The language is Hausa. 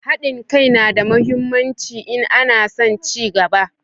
Hadin kai na da muhimmanci in ana son cigaba